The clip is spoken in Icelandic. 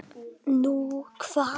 Nú, hvar?